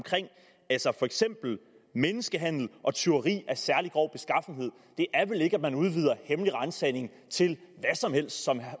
for eksempel menneskehandel og tyveri af særlig grov beskaffenhed og det er vel ikke at man udvider hemmelig ransagning til hvad som helst som